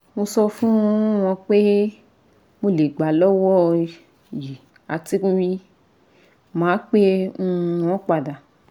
mo so fun won pe mo le gba lowo yi ati ma pe um won pada